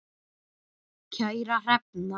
Kæra Hrefna,